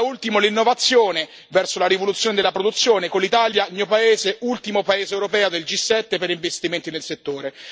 Da ultimo, l'innovazione verso la rivoluzione della produzione, con l'Italia, il mio paese, ultimo paese europeo del G7 per investimenti nel settore.